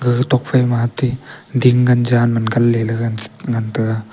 gaga tokphai ma ate ding gan jan man gan ley gaga gan ngan tega.